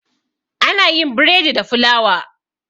Ana yin bredi da fulawa.